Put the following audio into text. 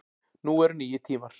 Nú eru nýir tímar